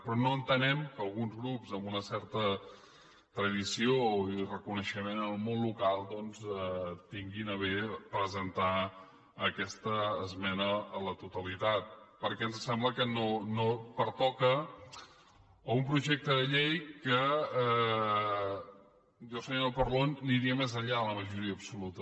però no entenem que alguns grups amb una certa tradició i reconeixement en el món local doncs tinguin a bé presentar aquesta esmena a la totalitat perquè em sembla que no pertoca a un projecte de llei en què jo senyora parlon aniria més enllà de la majoria absoluta